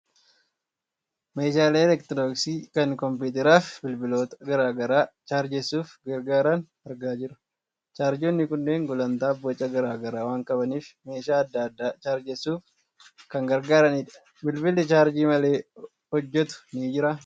Meeshaalee elektirooniksii kan kompiitaraa fi bilbiloota garaa garaa chaarjessuuf gargaaran argaa jirra. Chaarjeroonni kunneen gulantaa fi boca garaa garaa waan qabaniif, meeshaa adda addaa chaarjessuuf kan gargaaranidha. Bilbilli chaarjii malee hojjetu ni jiraa?